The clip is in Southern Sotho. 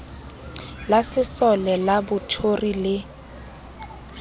la sesole la bothori le